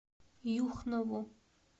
юхнову